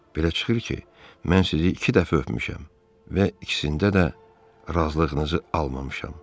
Belə çıxır ki, mən sizi iki dəfə öpmüşəm və ikisində də razılığınızı almamışam.